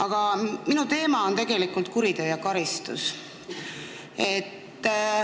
Aga minu teema on tegelikult kuritöö ja karistus.